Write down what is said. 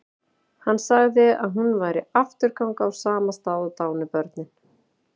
Hann sagði að hún væri afturganga úr sama stað og dánu börnin.